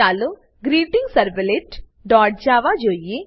ચાલો greetingservletજાવા જોઈએ